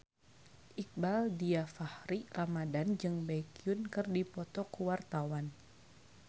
Iqbaal Dhiafakhri Ramadhan jeung Baekhyun keur dipoto ku wartawan